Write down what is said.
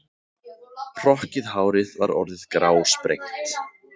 Hrokkið hárið var orðið grásprengt.